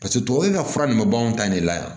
Paseke tubabu ka fura nin bɛ bɔ anw ta in de la yan